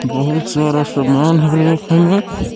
बहुत सारा सामान है।